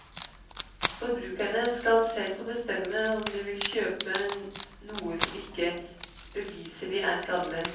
Forbrukerne skal selv få bestemme om de vil kjøpe noe som ikke beviselig er skadelig.